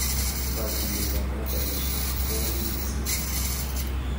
Katuyetab modelishek koui mising